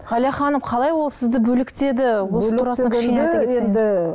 ғалия ханым қалай ол сізді бөлектеді